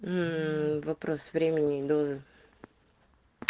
мм вопрос времени и дозы